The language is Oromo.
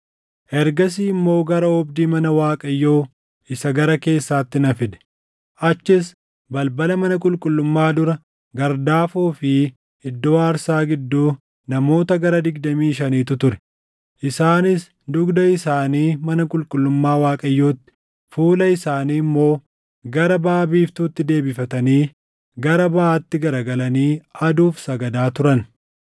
Ergasii immoo gara oobdii mana Waaqayyoo isa gara keessaatti na fide; achis balbala mana qulqullummaa dura gardaafoo fi iddoo aarsaa gidduu namoota gara digdamii shaniitu ture. Isaanis dugda isaanii mana qulqullummaa Waaqayyootti, fuula isaanii immoo gara baʼa biiftuutti deebifatanii, gara baʼaatti garagalanii aduuf sagadaa turan.